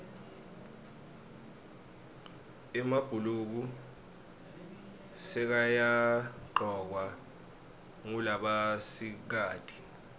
emabhuluko sekayagcokwa ngulabasikati